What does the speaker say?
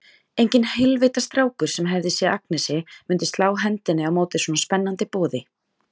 Enginn heilvita strákur, sem hefði séð Agnesi, myndi slá hendinni á móti svona spennandi boði.